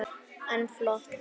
En flott!